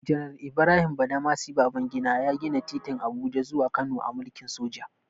Janar Ibrahim Badamasi Babangida ya gina titin Abuja zuwa Kano a mulkin soja.